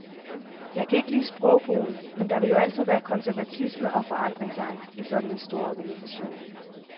Jeg kan ikke lide sprogbrugen, men der vil jo altid være konservatisme og forandringsangst i sådan en stor organisation.